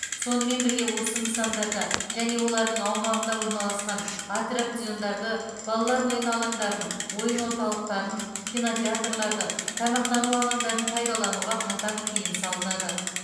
сонымен бірге осы нысандарда және олардың аумағында орналасқан аттракциондарды балалар ойын алаңдарын ойын орталықтарын кинотеатрларды тамақтану алаңдарын пайдалануға қатаң тыйым салынады